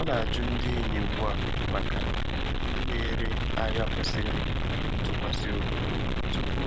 Ọ na-ajụ ndị enyi ugbu a maka ndị na-ere ahịa kwesịrị ntụkwasị obi tupu